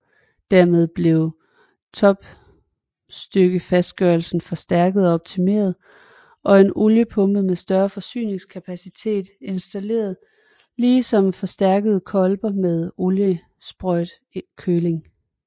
Dermed blev topstykkefastgørelsen forstærket og optimeret og en oliepumpe med større forsyningskapacitet installeret ligesom forstærkede kolber med oliesprøjtekøling